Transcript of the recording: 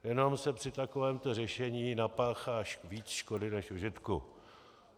Jenom se při takovém řešení napáchá víc škody než užitku.